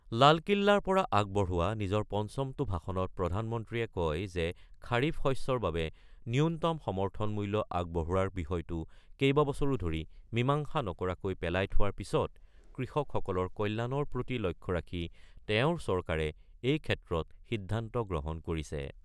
লালকিল্লাৰ পৰা আগবঢ়োৱা নিজৰ পঞ্চমটো ভাষণত প্ৰধানমন্ত্ৰীয়ে কয় যে খাৰিফ শস্যৰ বাবে ন্যূনতম সমৰ্থন মূল্য আগবঢ়োৱাৰ বিষয়টো কেইবাবছৰো ধৰি মীমাংসা নকৰাকৈ পেলাই থোৱাৰ পিছত কৃষকসকলৰ কল্যাণৰ প্ৰতি লক্ষ্য ৰাখি তেওঁৰ চৰকাৰে এই ক্ষেত্ৰত সিদ্ধান্ত গ্ৰহণ কৰিছে।